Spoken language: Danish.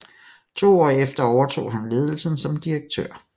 To år efter overtog han ledelsen som direktør